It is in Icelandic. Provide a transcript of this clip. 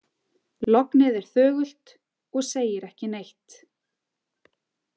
Lognið er þögult og segir ekki neitt.